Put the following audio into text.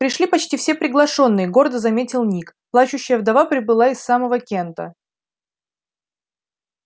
пришли почти все приглашённые гордо заметил ник плачущая вдова прибыла из самого кента